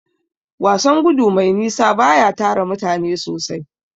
Wasan gudu mai nisa baya tara mutane sosai.